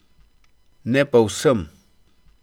Ne pa vsem.